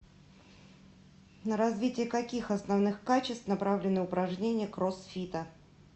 на развитие каких основных качеств направлены упражнения кроссфита